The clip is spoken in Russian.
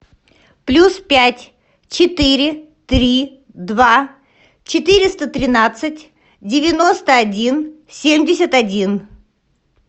плюс пять четыре три два четыреста тринадцать девяносто один семьдесят один